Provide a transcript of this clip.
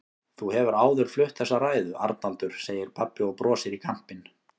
Þú hefur áður flutt þessa ræðu, Arnaldur, segir pabbi og brosir í kampinn.